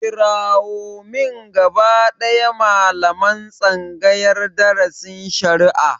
Kirawo min gaba ɗaya malaman tsangayar darasin shari'a!